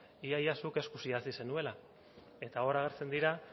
ia ia zuk eskuz idatzi zenuela eta hor agertzen dira